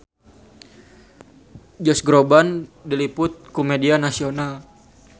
Josh Groban diliput ku media nasional